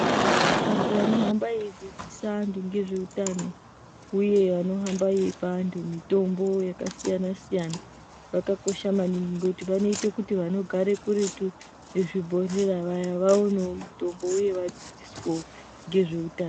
Antu anohamba eidzidzisa antu ngezveutano uye anohamba eipe antu mitombo yakasiyana -siyana vakakosha maningi ngekuti vanoite kuti vanogare kuretu nezvibhehlera vaya vaonewo mitombo uye vadzidziswewo ngezveutano.